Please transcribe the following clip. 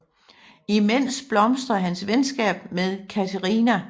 Imens blomstrede hans venskab med Kateřina